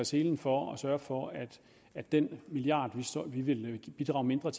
selen for at sørge for at at den milliard som vi vil bidrage mindre